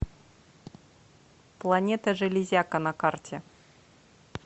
планета железяка на карте